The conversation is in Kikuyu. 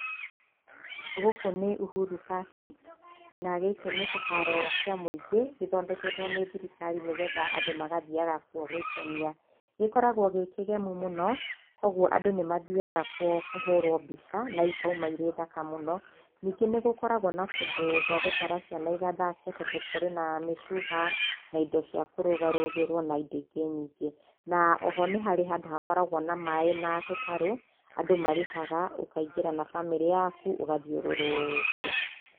Gũkũ nĩ Uhuru Park, na gĩkĩ nĩ kĩharo kĩa mũingĩ, gĩthoneketwo nĩ thirikari nĩgetha andũ magathiaga kuo gwĩkenia. Gĩkoragwo gĩ kĩgemu mũno, koguo andũ nĩ mathiaga kuo kũhũrwo mbica na ikauma irĩthaka mũno, ningĩ nĩgũkoragwo na kũndũ gwagũtwara ciana igathake tondũ kũrĩ na mĩcuha, na indo cia kũrũgarũgĩrwo na indo ingĩ nyingĩ. Na oho nĩ harĩ handũ harĩ na maaĩ na tũtarũ, andũ marĩhaga, ũkaingĩra na bamĩrĩ yaku, ũgathiũrũkio.